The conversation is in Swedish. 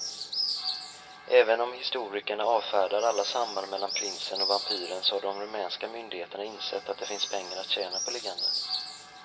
Även om historikerna avfärdar alla samband mellan prinsen och vampyren så har de rumänska myndigheterna insett att det finns pengar att tjäna på legenden.